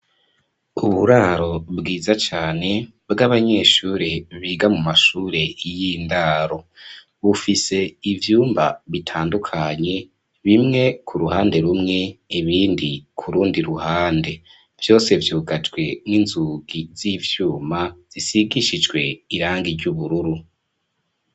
Uburaro bwiza cane, bw'abanyeshure, biga mu mashure y'indaro; bufise ivyumba bitandukanye, bimwe ku ruhande rumwe, ibindi ku rundi ruhande; vyose, vyugajwe n'inzugi z'ivyuma, zisigishijwe irangi ry'ubururu.